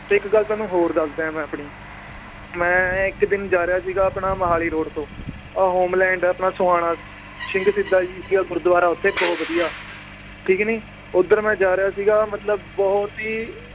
ਤੇ ਇੱਕ ਗੱਲ ਤੁਹਾਨੂੰ ਹੋਰ ਦੱਸਦਾਂ ਏ ਮੈ ਆਪਣੀ, ਮੈ ਇੱਕ ਦਿਨ ਜਾ ਰਿਹਾ ਸੀਗਾ ਆਪਣਾ ਮੋਹਾਲੀ road ਤੋਂ ਆਹ ਹੋਮਲੈਂਡ ਆਪਣਾ ਸੋਹਾਣਾ ਸਿੰਘ ਸ਼ਹੀਦਾਂ ਜੀ ਦਾ ਗੁਰੂਦਵਾਰਾ ਓਥੇ ਬਹੁਤ ਵਧੀਆ ਠੀਕ ਨੀ ਓਧਰ ਮੈ ਜਾ ਰਿਹਾ ਸੀਗਾ ਮਤਲਬ ਬਹੁਤ ਹੀ